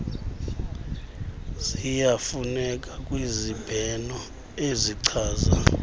ziyafuneka kwizibheno ezichasa